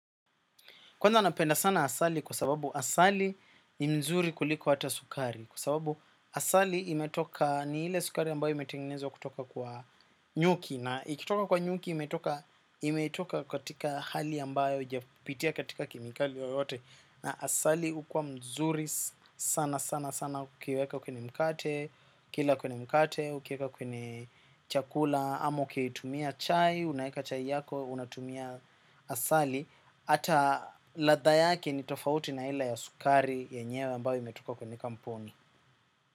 Kwanza napenda sana asali kwa sababu asali ni mzuri kuliko hata sukari. Kwa sababu asali imetoka ni ile sukari ambayo imetenginezwa kutoka kwa nyuki. Na ikitoka kwa nyuki imetoka katika hali ambayo haijapitia katika kemikali yoyote. Na asali ukua mzuri sana sana sana ukiweka kwenye mkate, ukila kwenye mkate, ukiweka kwenye chakula, ama ukitumia chai, unaeka chai yako, unatumia asali. Hata ladha yake ni tofauti na ile ya sukari yenyewe ambayo imetoka kwenye kampuni.